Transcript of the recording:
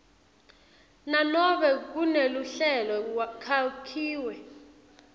nanobe kuneluhlelo kwakhiwe